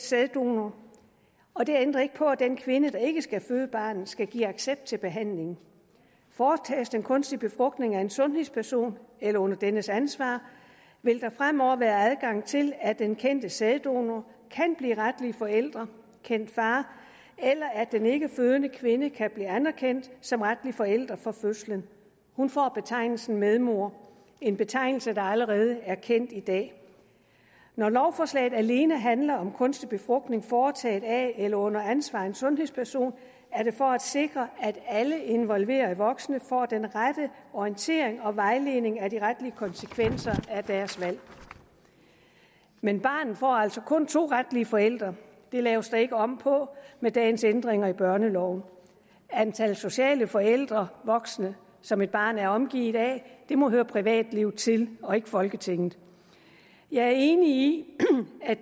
sæddonor og det ændrer ikke på at den kvinde der ikke skal føde barnet skal give accept til behandlingen foretages den kunstige befrugtning af en sundhedsperson eller under dennes ansvar vil der fremover være adgang til at den kendte sæddonor kan blive retlig forælder kendt far eller at den ikkefødende kvinde kan blive anerkendt som retlig forælder fra fødslen hun får betegnelsen medmor en betegnelse der allerede er kendt i dag når lovforslaget alene handler om kunstig befrugtning foretaget af eller under ansvar af en sundhedsperson er det for at sikre at alle involverede voksne får den rette orientering og vejledning om de retlige konsekvenser af deres valg men barnet får altså kun to retlige forældre det laves der ikke om på med dagens ændringer af børneloven antal sociale forældre og voksne som et barn er omgivet af må høre privatlivet til og ikke folketinget jeg er enig